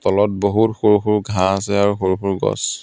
তলত বহুত সৰু সৰু ঘাঁহ আছে আৰু সৰু সৰু গছ.